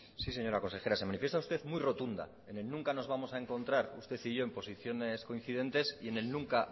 sí señora consejera se manifiesta usted muy rotunda en el nunca nos vamos a encontrar usted y yo en posiciones coincidentes y en el nunca